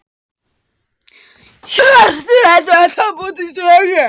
Hjörtur: Ertu ennþá að búa til sögur?